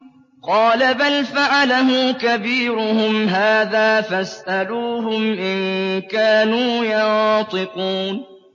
قَالَ بَلْ فَعَلَهُ كَبِيرُهُمْ هَٰذَا فَاسْأَلُوهُمْ إِن كَانُوا يَنطِقُونَ